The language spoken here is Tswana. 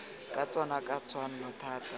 ka tsona ka tshwanno thata